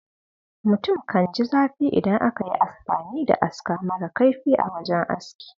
Mutum kan ji zafi idan aka yi amfani da aska mara kaifi a wajen aski.